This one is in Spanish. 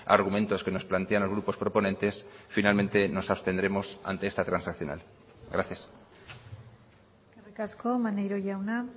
argumentos que nos plantean los grupos proponentes finalmente nos abstendremos ante esta transaccional gracias eskerrik asko maneiro jauna